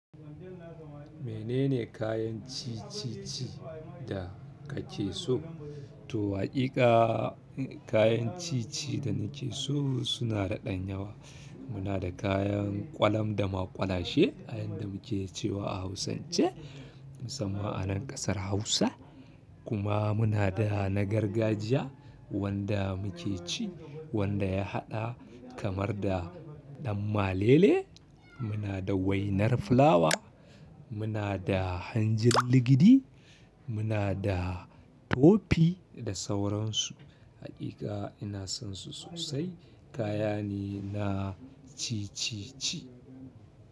Menene kayan ci-cici da kake so? To, haƙiƙa kayan ci-ci da nake so suna da ɗan yawa. Munada kayan ƙwalam da maƙwalashe a yanda muke cewa a hausance musamman anan ƙasar hausa kuma muna da na gargajiya wanda muke ci, wanda ya haɗa kamar da ɗan malele, muna da wainar fulawa, muna da hanjin ligidi, muna da tofi da sauransu. Haƙiƙa ina sonsu sosai. Kaya ne na ci-cici.